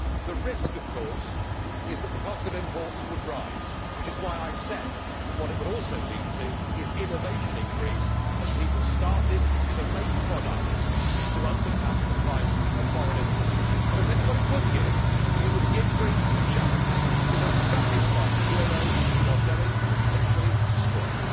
The risk of course is that the cost of imports would rise, which is why I said that what it would also lead to is innovation in Greece, as people started to make products to undercut the price of foreign imports. But I tell you what it would give it would give Greece a chance, because stuck inside the euro you are going to be literally destroyed.